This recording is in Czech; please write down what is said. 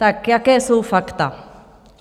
Tak jaká jsou fakta?